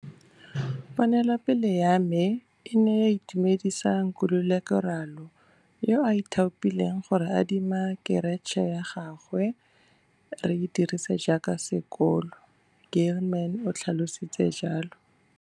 Ponelopele ya me e ne ya itumedisa Nkululeko Ralo, yo a ithaopileng go re adima keratšhe ya gagwe gore re e dirise jaaka sekolo, Gilman o tlhalositse jalo.